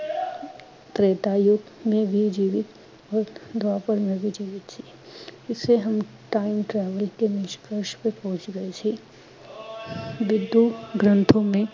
ਤੇ੍ਤਾ ਯੁਗ ਮੇਂ ਵੀ ਜੀਵਿਤ ਔਰ ਦਵਾਪਰ ਮੇਂ ਵੀ ਜੀਵਿਤ ਸੀ। ਇਸਸੇ ਹਮ time travel ਕੇ ਨਿਸ਼ਕਰਸ਼ ਪੇ ਪਹੁੰਚ ਰਹੇ ਸੀ।